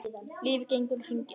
Lífið gengur í hringi.